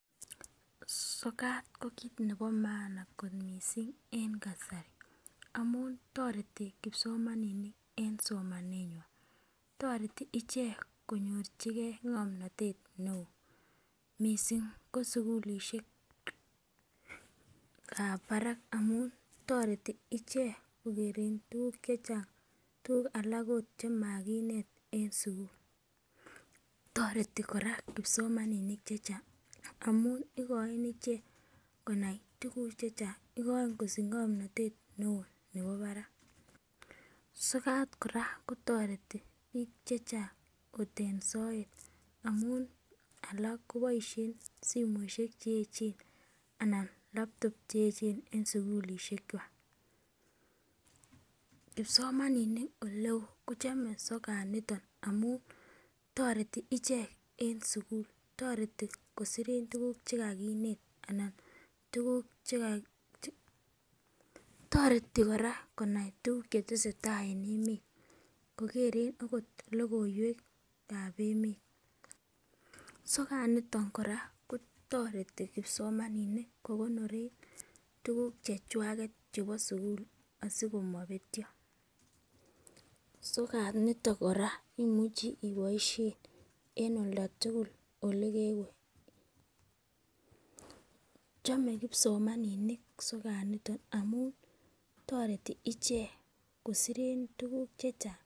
Sokat ko kit nebo maana kot missing' en kasari amun toreti kipsomaninik en somanenywan, toreti ichek konyorchigee ng'omnotet neo missing' ko sukulishekab barak amun toreti ichek kokere tukuk chechang', tukuk alak ot chemokinet en sukul. Toreti koraa kipsomaninik chechang' amun ikoin ichek Konai tukuk chechang' , igoin kosich ng'omnotet neo nebo barak. Sokat Koraa kotoreti bik chechang' ot en soet amun alak koboishen simoishek cheyechen ana laptop cheyechen en sukulishek kwak. Kipsomaninik oleo kochome sokat niton amun toreti ichek en sukul toreti kosoren tukuk chekinet alan tukuk cheka, toreti koraa konai tukuk chetesetai en emet kokeren. Okot lokoiwekab emet. Sokat niton koraaa kotoreti kipsomaninik kokonoren tukuk chechwaket chemo sukul asikomopetyo niton Koraa imuche iboishen en olda tukul olekewe. Chome kipsomaninik sokat niton amun toreti ichek kosoren tukuk chechang'.